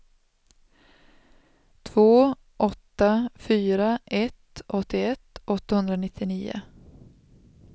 två åtta fyra ett åttioett åttahundranittionio